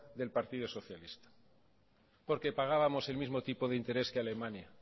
del partido socialista porque pagábamos el mismo tipo de interés que alemania